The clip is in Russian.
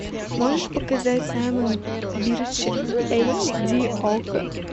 можешь показать саймон бирч эйч ди окко